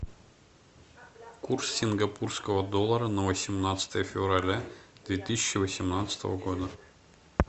курс сингапурского доллара на восемнадцатое февраля две тысячи восемнадцатого года